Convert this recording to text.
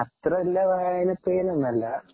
അത്ര വലിയ വായന പ്രിയനൊന്നും അല്ല